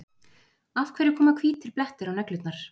Af hverju koma hvítir blettir á neglurnar?